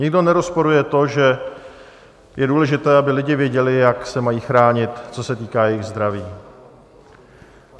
Nikdo nerozporuje to, že je důležité, aby lidi věděli, jak se mají chránit, co se týká jejich zdraví.